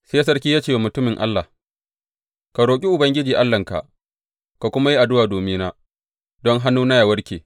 Sai sarki ya ce wa mutumin Allah, Ka roƙi Ubangiji Allahnka, ka kuma yi addu’a domina don hannuna ya warke.